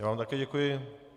Já vám také děkuju.